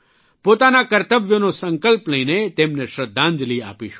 પોતાના કર્તવ્યોનો સંકલ્પ લઇને તેમને શ્રદ્ધાંજલિ આપીશું